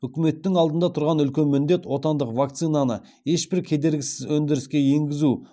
үкіметтің алдында тұрған үлкен міндет отандық вакцинаны ешбір кедергісіз өндіріске енгізу